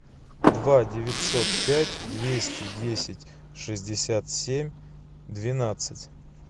два девятьсот пять двести десять шестьдесят семь двенадцать